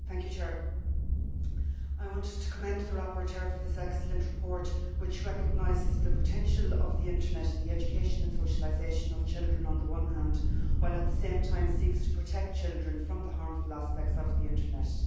Madam President, I want to commend the rapporteur for this excellent report, which recognises the potential of the internet in the education and socialisation of children on the one hand while at the same time seeking to protect children from the harmful aspects of the internet.